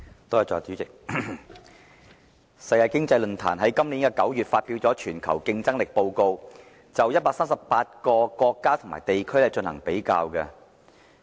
代理主席，世界經濟論壇在今年9月發表"全球競爭力報告"，就138個國家和地區進行比較。